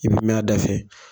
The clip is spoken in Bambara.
I kun m'a dafɛ